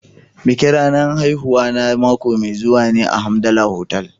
Bikin ranar haihuwana mako mai zuwa ne a Hamdala Hotel.